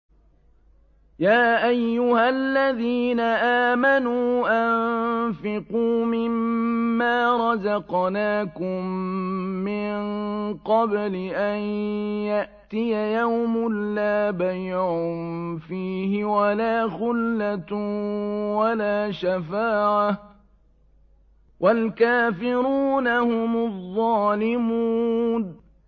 يَا أَيُّهَا الَّذِينَ آمَنُوا أَنفِقُوا مِمَّا رَزَقْنَاكُم مِّن قَبْلِ أَن يَأْتِيَ يَوْمٌ لَّا بَيْعٌ فِيهِ وَلَا خُلَّةٌ وَلَا شَفَاعَةٌ ۗ وَالْكَافِرُونَ هُمُ الظَّالِمُونَ